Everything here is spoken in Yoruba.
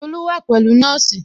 Tolu wa pẹ̀lú nọ́ọ̀sì